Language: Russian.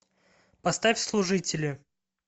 поставь служители